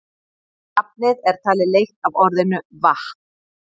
Nafnið er talið leitt af orðinu vatn.